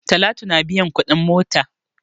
Talatu na biyan kuɗin mota.